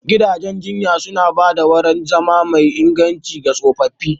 Gidajen jinya suna ba da wurin zama mai inganci ga tsofaffi.